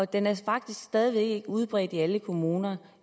den er faktisk stadig ikke udbredt i alle kommuner